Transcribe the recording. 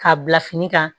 K'a bila fini kan